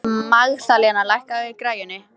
Magðalena, lækkaðu í græjunum.